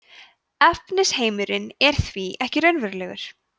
efnisheimurinn er því ekki raunverulegur